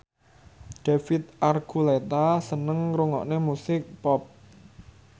David Archuletta seneng ngrungokne musik pop